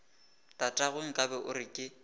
tatagwe nkabe o re ke